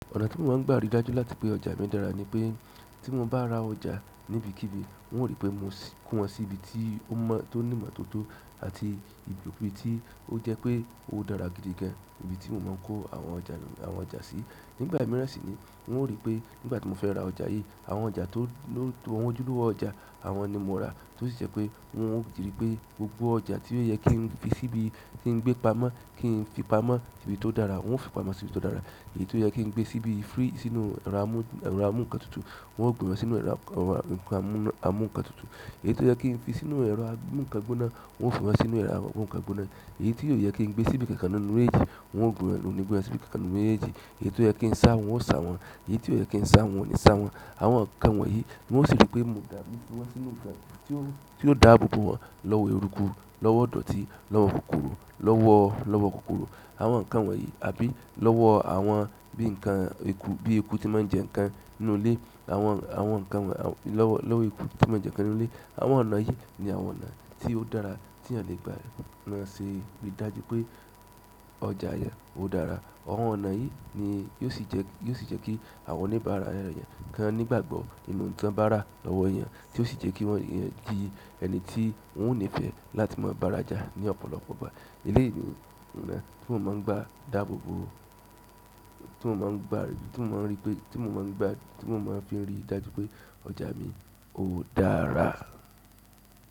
Ọ̀nà ti mo ma a n gba ri dájú láti pe ọjà mi dára ni pe, ti mo ba ra ọjà nibi kibi, n o ri pe mo ko won si ibi ti o mo ti o ni imotooto àti ibi ti o je pe o daara gidi gan. Ibi tí mo máa ń kó àwọn ọjà, àwọn ọjà sí. Nígbà mìíràn sì ni n ó ríi pé nígbà tí mo fẹ́ ra ọjà yìí, àwọn ọjà tó won ojúlówó ọjà, àwọn ni mo n ra tó sì jẹ́ pé wọn ó jìrí pé gbogbo ọjà tí ó yẹ kí n fi síbi, kí n gbé pamọ́, kí n fi pamọ́ síbi tó dára, wọn ó fi pamọ́ sí ibi tó dára. Èyí tó yẹ kí n gbé síbí fírí sínú ẹrọ amú nǹkan tutù, wọn ó gbé wọn sínú ẹrọ amú nǹkan tutù. Èyí tó yẹ kí n fi sínú ẹrọ amúǹkan gbóná, wọn ó fi wọn sínú ẹrọ amúǹkan gbóná. Èyí tí ó yẹ kí n gbé síbi kankan ná nínú mejéèjì, n wọn ó ni gbé wọn sìbí kankàn nínú méjèèjì. Èyí tó yẹ kí n sá wọn, wọn ó sá wọn. Eyii ti o ye ki n sa won, n o ni sa won. Àwọn nǹkan wọ̀nyí n ó sì ríi pé mo dà gbogbo won sínú ọjà tí ó dàábo bo wọn lọ́wọ́ ẹ̀rùku, lọ́wọ́ idọ̀tí, lọ́wọ́ kòkòrò, lọ́wọ́, lọ́wọ́ kòkòrò àwọn nǹkan wọ̀nyí àbí lọ́wọ́ àwọn bí i nǹkan eku, bí i eku tí máa ń jẹ nǹkan nínú ilé, àwọn, àwọn nǹkan wọ̀nyí lọ́wọ́, lọ́wọ́ eku tí ó máa ń jẹ nǹkan nínú ilé. Àwọn ọ̀nà yìí ni àwọn ọ̀nà tí ó dára tí ènìyàn lè gbà maa ṣe rí i dájú pé ọjà yẹn ó dára. Àwọn ọ̀nà yìí ni yóò sì jẹ́, yóò sì jẹ́ kí àwọn oníbàárà ẹnìyàn kan nígbàgbọ́ nínú ohun ti won bára lọ́wọ́ eeyan, tí ó sì jẹ́ kí won n di ẹni tí wọ́n ó nífẹ̀ẹ́ láti máa bára já ní ọ̀pọ̀lọpọ̀ ìgbà. Eléèyi ni oná tí mo máa ń gba dàábo bo, tí mo máa ń gba, tí mo máa ń rí pé, tí mo máa ń gba, tí mo máa ń fi rí i dájú pé ọ̀jà mi ó dára.